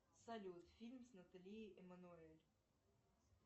салют фильм с натали эммануэль